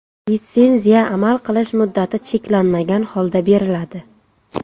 Litsenziya amal qilish muddati cheklanmagan holda beriladi.